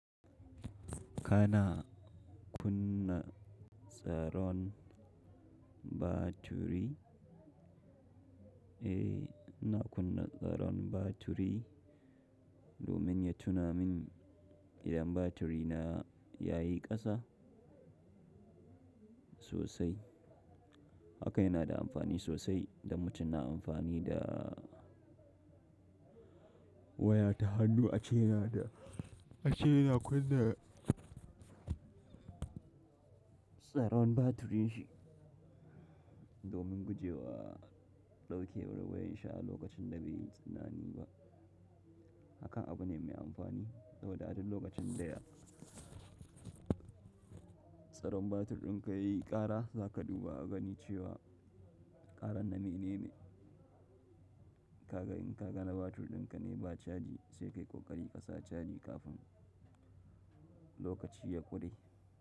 Kana kunna tsaron batiri, eh, ina kunna tsaron batiri domin ya tuna min idan batiri na ya yi ƙasa sosai. Haka yana da amfani sosai, idan mutum na amfani da waya ta hannu a ce yana da ace yana kunna tsaron batirin shi domin gujewa ɗaukewar wayar shi a lokacin da bai yi tunani ba. Hakan abu ne mai amfani. Saboda a duk lokacin da ya. Tsaron batir ɗinka yayi ƙara, za ka dubu a gani cewa ƙaran na menene. Ka ga in ka ga na batir dinka ne ba caji sai kayi ƙoƙari ka sa caji kafin lokaci ya kure.